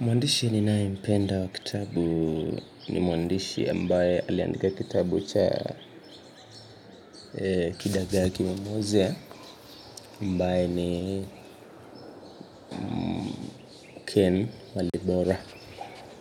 Mwandishi ninayempenda wa kitabu ni mwandishi ambaye aliandika kitabu cha kidagaa kimemwozea ambaye ni Ken Walibora